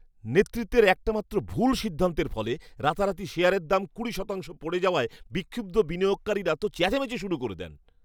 নেতৃত্বের একটামাত্র ভুল সিদ্ধান্তের ফলে রাতারাতি শেয়ারের দাম কুড়ি শতাংশ পড়ে যাওয়ায় বিক্ষুব্ধ বিনিয়োগকারীরা তো চেঁচামেচি শুরু করে দেন।